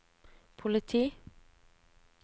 politi